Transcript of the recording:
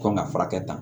Kan ka furakɛ ta